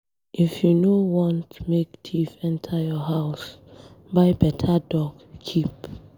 If you no want make thief enter your house, buy beta dog keep.